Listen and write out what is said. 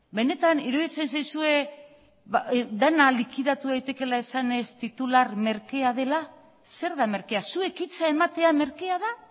benetan iruditzen zaizue dena likidatu daitekeela esanez titular merkea dela zer da merkea zuek hitza ematea merkea da